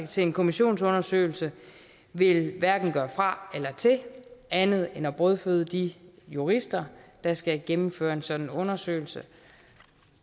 til en kommissionsundersøgelse vil hverken gøre fra eller til andet end at brødføde de jurister der skal gennemføre en sådan undersøgelse